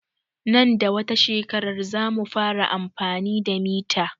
Nan da wata shekarar zamu fara amfani da mita